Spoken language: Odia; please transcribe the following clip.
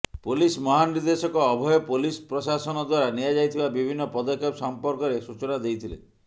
ପୋଲିସ ମହାନିର୍ଦ୍ଦେଶକ ଅଭୟ ପୋଲିସ ପ୍ରଶାସନ ଦ୍ବାରା ନିଆଯାଇଥିବା ବିଭିନ୍ନ ପଦକ୍ଷେପ ସଂପର୍କରେ ସୂଚନା ଦେଇଥିଲେ